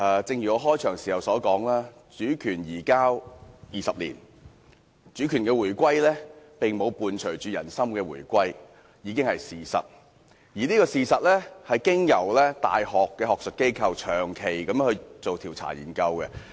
正如我開場時說，主權移交20年，主權回歸並沒有伴隨人心回歸，這是事實，而這事實有大學學術機構長期進行的調查研究支持。